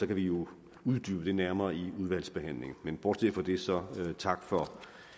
kan vi jo uddybe det nærmere i udvalgsbehandlingen men bortset fra det så tak for